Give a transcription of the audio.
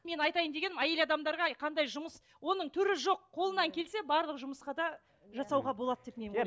мен айтайын дегенім әйел адамдарға қандай жұмыс оның түрі жоқ қолыңнан келсе барлық жұмысқа да жасауға болады деп мен ойлаймын